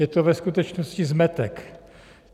Je to ve skutečnosti zmetek.